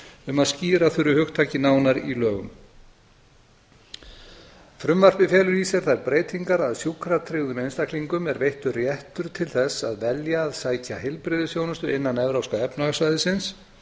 um að skýra þurfi hugtakið nánar í lögum frumvarpið felur í sér þær breytingar að sjúkratryggðum einstaklingum er veittur réttur til þess að velja að sækja heilbrigðisþjónustu innan evrópska efnahagssvæðisins